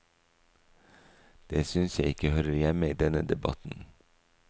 Det synes jeg ikke hører hjemme i denne debatten.